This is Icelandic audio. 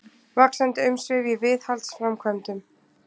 Vaxandi umsvif í viðhaldsframkvæmdum